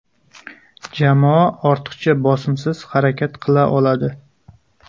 Jamoa ortiqcha bosimsiz harakat qila oladi.